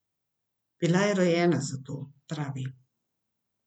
Bila je rojena za to, pravi.